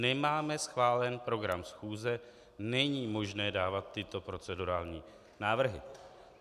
Nemáme schválen program schůze, není možné dávat tyto procedurální návrhy.